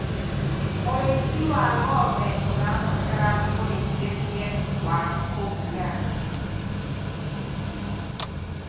ũrĩithi wa ng'ombe ũrabatara mũrĩithirie wa kugiana